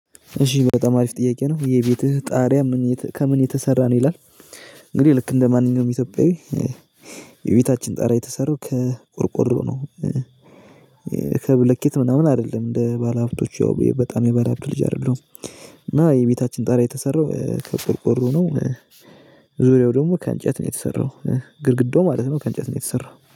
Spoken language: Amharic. እሺ በጣም አሪፍ ጥያከ ነው የቤትክ ጣሪያ ከምን የተሰራ ነው ይላል? እንግዲህ እንደማንኛውም እትዮፒያዊ የበታችን ጣሪያ የተሰራው ከ ቆርቆሮ ነው። ከብሎከት ምናምን አደልም እደ ባላሃብትቶቹ በታም የባለሃብት ልጅ አደለሁም እና የበታችን ጣሪያ የተሰራው ከቆርቆሮ ነው። ዙሪያው ደግሞ ከ እንጨት ነው የተሰራው ግድግዳው ማለት ነው ከእንጨት ነው የተሰራው